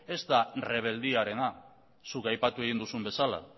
ez da errebeldiarena zuk aipatu egin duzun bezala